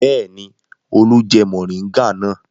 Bẹ́ẹ̀ ni, Olú jẹ mòríngà náà.